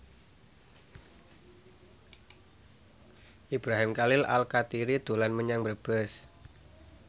Ibrahim Khalil Alkatiri dolan menyang Brebes